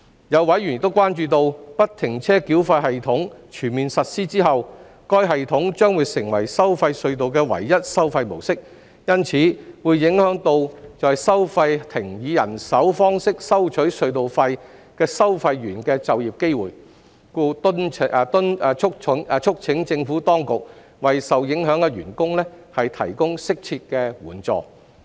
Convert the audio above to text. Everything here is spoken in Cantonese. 有委員關注到，不停車繳費系統全面實施後，該系統將會成為收費隧道的唯一收費模式，因此會影響到在收費亭以人手方式收取隧道費的收費員的就業機會，故促請政府當局為受影響員工提供適切的援助。